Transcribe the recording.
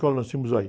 nós temos aí.